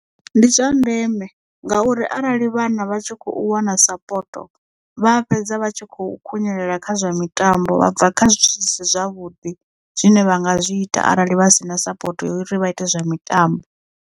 Ndi zwa ndeme ngauri arali vhana vha tshi kho wana sapoto vha fhedza vha tshi khou khunyelela kha zwa mitambo vha bva kha zwithu zwi si zwavhuḓi zwine vha nga zwi ita arali vha si na sapoto uri vha ite zwa mitambo.